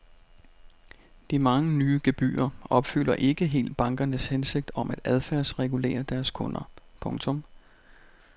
De mange nye gebyrer opfylder ikke helt bankernes hensigt om at adfærdsregulere deres kunder. punktum